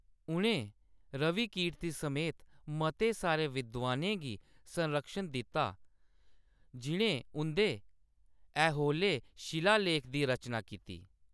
उ`नें रविकीर्ति समेत मते सारे विद्वानें गी संरक्षण दित्ता जि`नें उं`दे ऐहोले शिलालेख दी रचना कीती ।